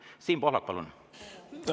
Siim Pohlak, palun!